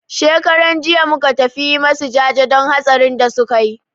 Shekaran jiya muka tafi yi masu jaje don hatsarin da suka yi.